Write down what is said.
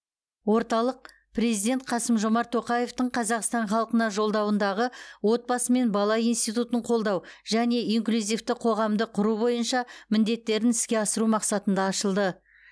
орталық президент қасым жомарт тоқаевтың қазақстан халқына жолдауындағы отбасы мен бала институтын қолдау және инклюзивті қоғамды құру бойынша міндеттерін іске асыру мақсатында ашылды